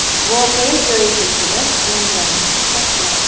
voqea joyiga kelib, janjalni to‘xtatgan.